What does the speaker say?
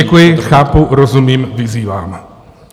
Děkuji, chápu, rozumím, vyzývám.